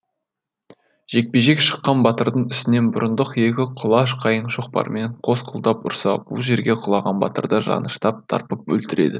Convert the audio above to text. жекпе жек шыққан батырдың үстінен бұрындық екі құлаш қайың шоқпарымен қос қолдап ұрса бұл жерге құлаған батырды жаныштап тарпып өлтіреді